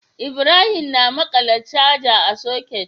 Ibrahim na maƙala charger a socket